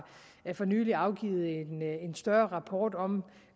for nylig afgivet en større rapport om